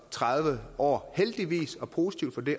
tredive år heldigvis det er positivt